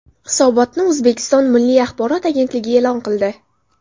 Hisobotni O‘zbekiston Milliy axborot agentligi e’lon qildi .